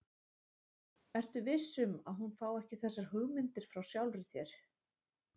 Ertu viss um, að hún fái ekki þessar hugmyndir frá sjálfri þér?